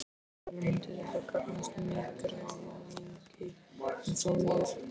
Sölvi: Myndi þetta gagnast nýgræðingi eins og mér?